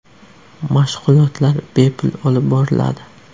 Mashg‘ulotlar bepul olib boriladi.